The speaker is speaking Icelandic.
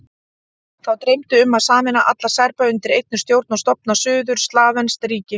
Þá dreymdi um að sameina alla Serba undir einni stjórn og stofna suður-slavneskt ríki.